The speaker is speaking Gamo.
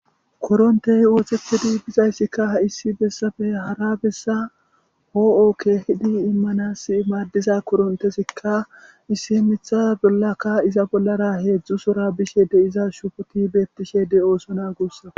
korontey oothetedi bizayssikka ha issi bessafe hara bessa hoo7o keehidi immanas maaddiza korontesikka issi mitha bollaka iza bollara heedzdzusora bishe de iza shufoti beettishe de7ooso na guussako